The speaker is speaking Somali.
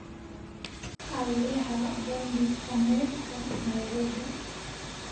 alexa bandhig faneedka nairobi